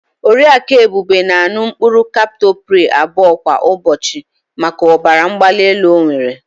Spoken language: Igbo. Oriaku Ebube na-an̄ụ mkpụrụ kaptopril abụọ kwa ụbọchị maka ọbara mgbalaelu ọ nwere.